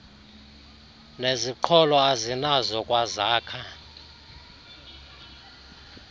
neziqholo azinazo kwazakha